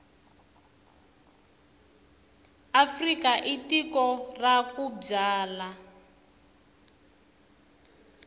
afrika i tiko ra ku byala